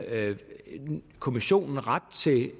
kommissionen ret til